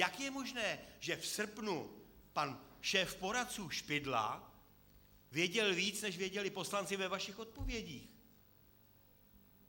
Jak je možné, že v srpnu pan šéf poradců Špidla věděl víc, než věděli poslanci ve vašich odpovědích?